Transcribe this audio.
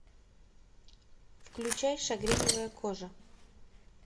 включай шагреневая кожа